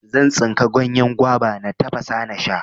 Zan tsinka ganyen gwaba, na tafasa nasha.